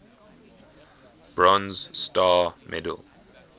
bronze star medal